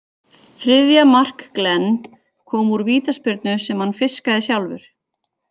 Þriðja mark Glenn kom úr vítaspyrnu sem hann fiskaði sjálfur.